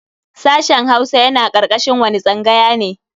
Sashen Hausa yana karkashin wani tsangaya ne?